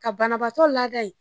Ka banabatɔ laada